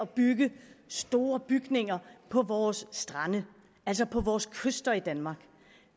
bygge store bygninger på vores strande altså på vores kyster i danmark